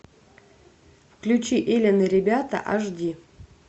включи элен и ребята аш ди